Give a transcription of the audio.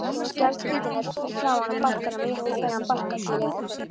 Skjaldkirtillinn er framan á barkanum rétt fyrir neðan barkakýlið.